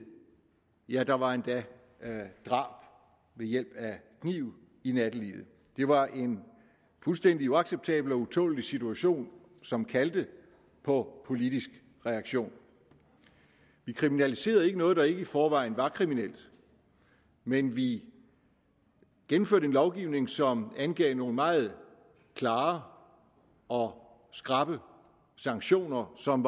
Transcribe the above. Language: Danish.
ja der var endda drab ved hjælp af kniv i nattelivet det var en fuldstændig uacceptabel og utålelig situation som kaldte på politisk reaktion vi kriminaliserede ikke noget der ikke i forvejen var kriminelt men vi gennemførte en lovgivning som angav nogle meget klare og skrappe sanktioner som